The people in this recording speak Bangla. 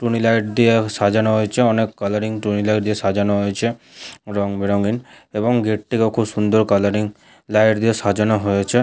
টুনিলাইট দিয়ে সাজানো হয়েছে। অনেক কালারিং টুনিলাইট দিয়ে সাজানো হয়েছে রংবেরঙের এবং গেট -টিকে অনেক কালারিং লাইট দিয়ে সাজানো হয়েছে।